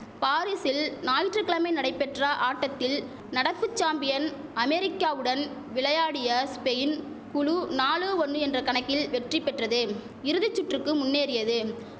பாரீஸில் ஞாயிற்றுகிழமை நடைபெற்ற ஆட்டத்தில் நடப்பு சாம்பியன் அமெரிக்காவுடன் விளையாடிய ஸ்பெயின் குழு நாலு ஒன்னு என்ற கணக்கில் வெற்றி பெற்றது இறுதி சுற்றுக்கு முன்னேறியது